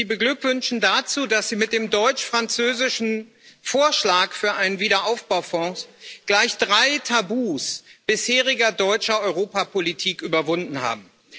Ich möchte Sie dazu beglückwünschen, dass Sie mit dem deutsch französischen Vorschlag für einen Wiederaufbaufonds gleich drei Tabus bisheriger deutscher Europapolitik überwunden haben.